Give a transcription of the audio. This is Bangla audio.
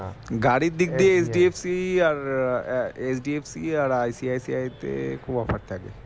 গাড়ির দিক দিয়ে HDFC আর HDFC আর ICICI তে খুব offer থাকে